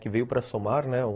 Que veio para somar, né?